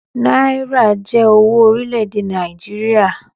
Náírà jé owó orílè èdè Nàìjíríà.